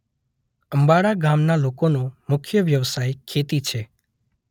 અમ્બાડા ગામના લોકોનો મુખ્ય વ્યવસાય ખેતી છે.